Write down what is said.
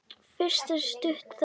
Fyrst er stutt þögn.